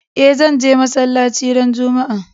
E, zan je masalaci ran Juma'a.